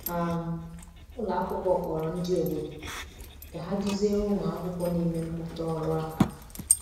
um Ụlọ akwụkwọ kpọrọ ndị obodo ka ha duziere ụmụ akwụkwọ na-eme mmụta ọrụ aka.